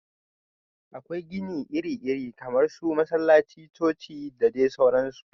Akwai gini iri iri kamar su masallaci, coci da dai sauransu